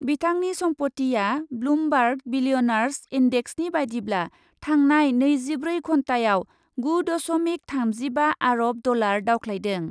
बिथांनि सम्पतिआ Bloomberg billionaires इन्डेक्सनि बायदिब्ला थांनाय नैजिब्रै घन्टायाव गु दस'मिक थामजिबा आर'ब डलार दावख्लायदों।